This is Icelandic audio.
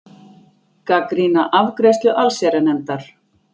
Gagnrýna afgreiðslu allsherjarnefndar